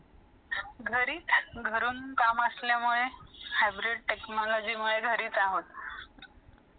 घरीच , घरून काम असल्यामुळे hybrid technology मुळे घरीच आहोत .